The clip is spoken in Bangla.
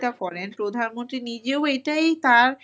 তাহলে চিন্তা করেন প্রধানমন্ত্রী নিজেও এটাই তার